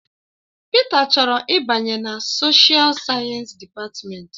Peter chọrọ ịbanye na soshial sayensị dịpatmenti.